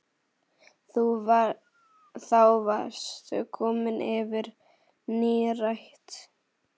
Þá varstu komin yfir nírætt.